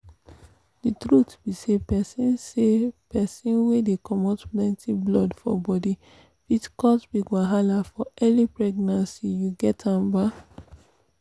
the truth be say persin say persin wey dey comot plenty blood for body fit cause big wahala for early pregnancy you get am ba